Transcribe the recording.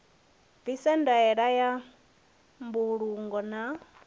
bviswe ndaela ya mbulungo na